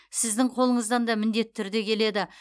сіздің қолыңыздан да міндетті түрде келеді